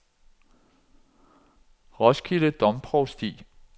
Roskilde Domprovsti